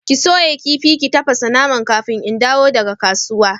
Ki soya kifi ki tafasa naman kafin in dawo daga kasuwa!